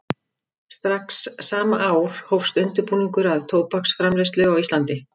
Strax sama ár hófst undirbúningur að tóbaksframleiðslu á Íslandi.